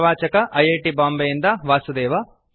ಪ್ರವಾಚಕ I I T ಬಾಂಬೆಯಿಂದ ವಾಸುದೇವ